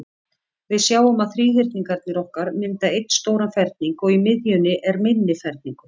Við sjáum að þríhyrningarnir okkar mynda einn stóran ferning, og í miðjunni er minni ferningur.